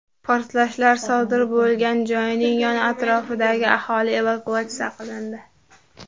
Portlashlar sodir bo‘lgan joyning yon atrofidagi aholi evakuatsiya qilindi.